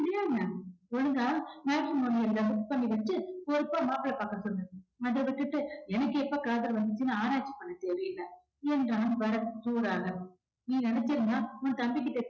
இல்லையா என்ன ஒழுங்கா matrimony ல book பண்ணி வச்சு பொறுப்பா மாப்பிள்ளை பாக்க சொல்லு அதை விட்டுட்டு எனக்கு எப்ப காதல் வந்துச்சுன்னு ஆராய்ச்சி பண்ண தேவையில்லை என்றான் பரத் சூடாக